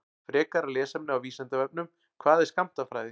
Frekara lesefni á Vísindavefnum: Hvað er skammtafræði?